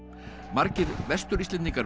margir Vestur Íslendingar